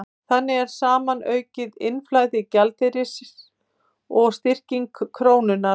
Þannig fer saman aukið innflæði gjaldeyris og styrking krónunnar.